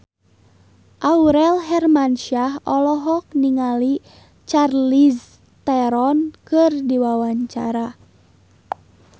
Aurel Hermansyah olohok ningali Charlize Theron keur diwawancara